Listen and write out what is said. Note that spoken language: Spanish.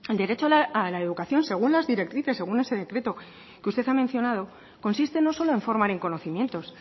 derecho a la educación según las directrices según ese decreto que usted ha mencionado consiste no solo en formar en conocimientos